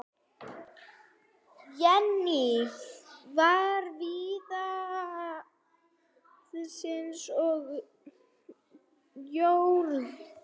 Jenný var víðsýn og fróð.